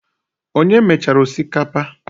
Onye mechara osikapa?